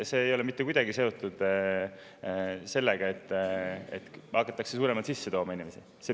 Ja see ei ole mitte kuidagi seotud sellega, et hakatakse inimesi sisse tooma.